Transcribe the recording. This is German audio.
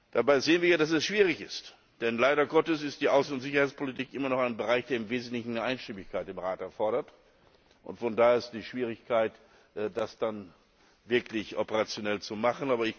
Dabei sehen wir ja, dass es schwierig ist, denn leider Gottes ist die Außen und Sicherheitspolitik immer noch ein Bereich, der im Wesentlichen Einstimmigkeit im Rat erfordert daher auch die Schwierigkeit, das dann wirklich operationell zu machen.